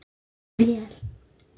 Smurð vél.